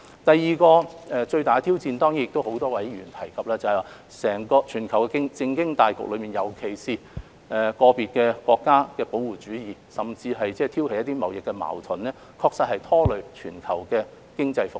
第二個最大的挑戰，是多位議員提到的全球政經大局，尤其是在個別國家的保護主義，甚至挑起貿易矛盾，確實拖累全球經濟復蘇。